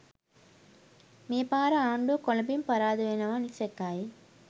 මේ පාර ආණ්ඩුව කොළඹින් පරාද වෙනවා නිසැකයි